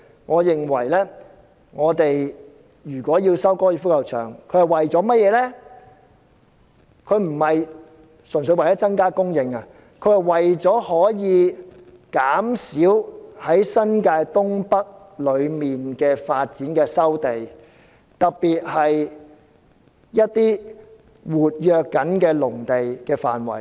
我認為如果收回高爾夫球場，不應純粹為增加房屋供應，而應減少在新界東北發展計劃中要收回的土地，特別是一些活躍農地的範圍。